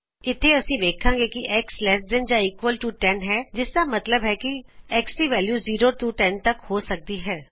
ਇਥੇ ਅਸੀ ਵੇਖਾਂਗੇ ਕੀ X ਲੈਸ ਦੈਨ ਜਾਂ ਈਕੂਅਲ ਟੂ 10ਹੈ ਜਿਸਦਾ ਮਤਲਬ ਹੈ X ਦੀ ਵੈਲਯੂ 0 ਤੋ 10 ਤਕ ਹੋ ਸਕਦੀ ਹੈ